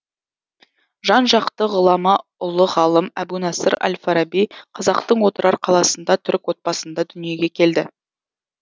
жан жакты ғұлама ұлы ғалым әбу насыр әл фараби казақтың отырар қаласында түрік отбасында дүниеге келді